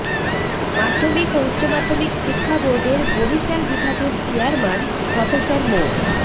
মাধ্যমিক ও উচ্চ মাধ্যমিক শিক্ষা বোর্ডের বরিশাল বিভাগের চেয়ারমান প্রফেসর মো